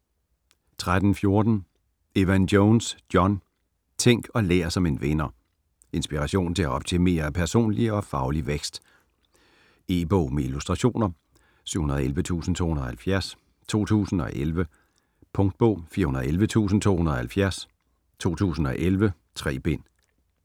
13.14 Evan-Jones, John: Tænk og lær som en vinder Inspiration til at optimere personlig og faglig vækst. E-bog med illustrationer 711270 2011. Punktbog 411270 2011. 3 bind.